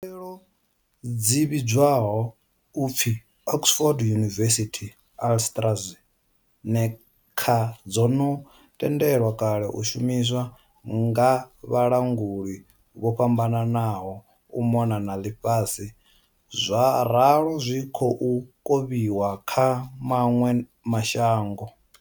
Khaelo dzi vhidzwaho u pfi Oxford University-AstraZe neca dzo no tendelwa kale u shumiswa nga vhalanguli vho fhambananaho u mona na ḽifhasi zwa ralo zwi khou kovhiwa kha maṅwe ma shango.